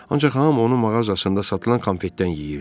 Ancaq hamı onun mağazasında satılan konfetdən yeyirdi.